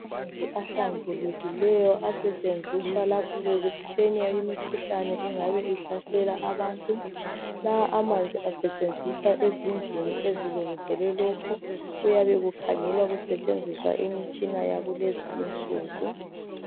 Amanzi ahlambulukileyo asetshenziswa lapho kuphenywa imikhuhlane engabe ihlasela abantu , lawa amanzi asetshenziswa ezindlini ezilungiselwe lokho , kuyabe kukhangelwa kusetshenziswa imitshina yakulezinsuku